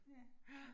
Ja